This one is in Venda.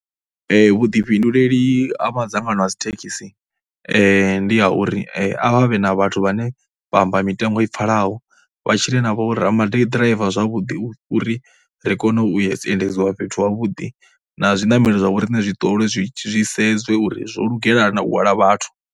Vhuḓifhinduleli ha madzangano a dzithekhisi ndi ha uri a vhe na vhathu vhane vha amba mitengo i pfhalaho vha tshile navho ra maḓiraiva zwavhuḓi uri ri kone u endedzwa fhethu havhuḓi na zwiṋamelo zwa vho riṋe zwi ṱolwe zwi sedzwe uri zwo lugela na u hwala vhathu.